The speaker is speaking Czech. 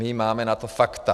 My máme na to fakta.